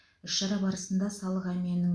іс шара барысында салық әмиянының